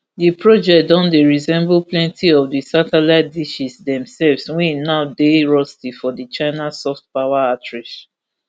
di project don dey resemble plenti of di satellite dishes demselves wey now dey rusty for di china soft power outreach